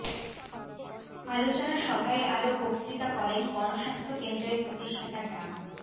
আলোচনা সভায় আরো বক্তৃতা করেন গণস্বাস্থ্য কেন্দ্রের প্রতিষ্ঠাতা ডা